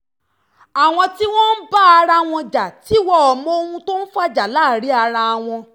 àwọn tí wọ́n ń bá ara wọn jà tí wọ́n mọ ohun tó ń fa ìjà láàrin ara wọn